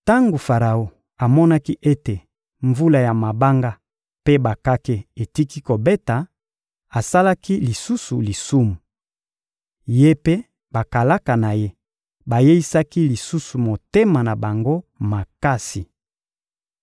Tango Faraon amonaki ete mvula ya mabanga mpe bakake etiki kobeta, asalaki lisusu lisumu. Ye mpe bakalaka na ye bayeisaki lisusu mitema na bango makasi.